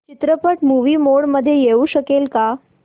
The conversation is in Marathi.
चित्रपट मूवी मोड मध्ये येऊ शकेल का